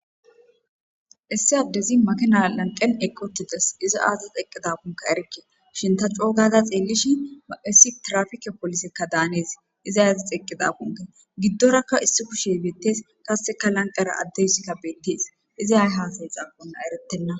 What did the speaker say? Issi addezi makinna lanqqen iqqi uttides .izi azis eqqidakko erikke. Ta coo gada xeelishin, issi tirafiike polisekka danes. Izay azas eqqidakkon gidorakka issi kuushshe bettes. Qasekka lanqqera addeyssikka bettes.izay ay hasidakkonne eretenna.